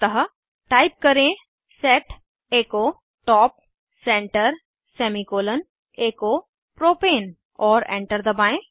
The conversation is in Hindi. अतः टाइप करें set echo top center semicolon echo propane औरएंटर दबाएं